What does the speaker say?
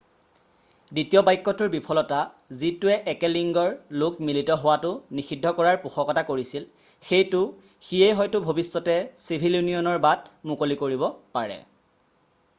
দ্বিতীয় বাক্যটোৰ বিফলতা যিটোৱে একে লিংগৰ লোক মিলিত হোৱাটো নিষিদ্ধ কৰাৰ পোষকতা কৰিছিল সেইটো সিয়েই হয়তো ভৱিষ্যতে চিভিল ইউনিয়নৰ বাট মুকলি কৰিব পাৰে